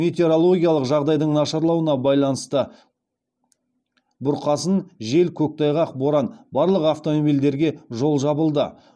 метеорологиялық жағдайдың нашарлауына байланысты барлық автомобильдерге жол жабылды